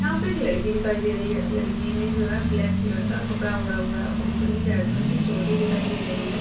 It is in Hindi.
यहां पे एक लड़की दिखाई दे रही है लड़की ने जो है ब्लैक कलर का कपड़ा ओढ़ा हुआ है और ऊपरी उसकी चोटी दिखाई दे रही है।